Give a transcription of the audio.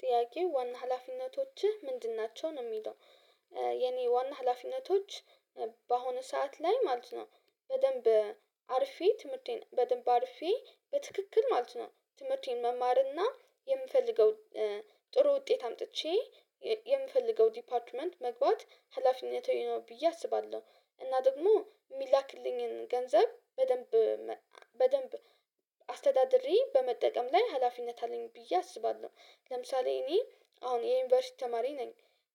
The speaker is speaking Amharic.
ጥያቄው ዋና ሀላፊነቶችህ ምንድን ናቸው? ነው የሚለው። የኔ ዋና ሀላፊነቶች በአሁኑ ሰዓት ላይ ማለት ነው በደንብ አርፌ ትምህርቴን በደንብ አርፌ በትክክል ማለት ነው ትምህርቴን መማርና የምፈልገው ጥሩ ውጤት አምጥቼ የምፈልገው ዲፓርትመንት መግባት ሀላፊነቴ ነው ብዬ አስባለሁ። እና ደግሞ የሚላክልኝን ገንዘብ በደንብ በደንብ አስተዳደሪ በመጠቀም ላይ ሀላፊነት አለኝ ብዬ አስባለሁ። ለምሳሌ እኔ አሁን የዩኒቨርሲቲ ተማሪ ነኝ።